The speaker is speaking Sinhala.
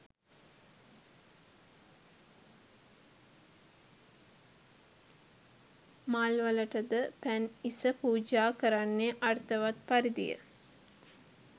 මල්වලට ද පැන් ඉස පූජා කරන්නේ අර්ථවත් පරිදිය.